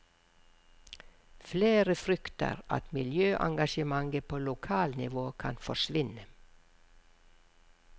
Flere frykter at miljøengasjementet på lokalnivå kan forsvinne.